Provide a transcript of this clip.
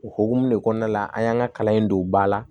O hukumu de kɔnɔna la an y'an ka kalan in don ba la